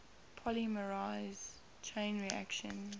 polymerase chain reaction